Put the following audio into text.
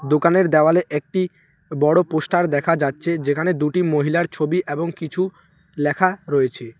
দোকানের দেওয়ালে একটি বড় পোস্টার দেখা যাচ্ছে যেখানে দুটি মহিলার ছবি এবং কিছু লেখা রয়েছে।